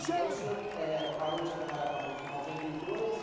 Então o senhor eh, parou de trabalhar com a banca em noventa e dois.